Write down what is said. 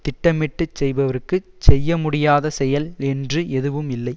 திட்டமிட்டு செய்பவர்க்குச் செய்ய முடியாத செயல் என்று எதுவும் இல்லை